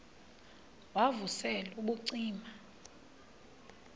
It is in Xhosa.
wav usel ubucima